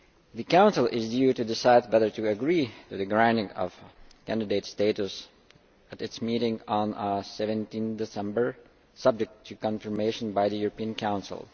The Council is due to decide whether to agree to the granting of candidate status at its meeting on 17 December, subject to confirmation by the European Council.